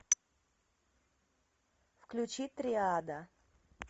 включи триада